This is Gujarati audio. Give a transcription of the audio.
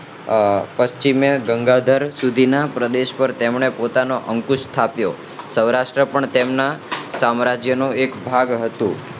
આહ પશ્ચિમે બંગાળ સુધી ના પ્રદેશો પર તેમણે પોતાનો અંકુશ સ્થાપ્યો સૌરાષ્ટ્ર પણ તેમના સામ્રાજ્ય નો એક ભાગ હતો